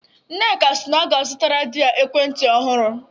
Nneka si na ọ ga-azụtara di ya ekwentị ọhụrụ.